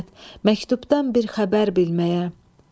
İsmət, məktubdan bir xəbər bilməyə.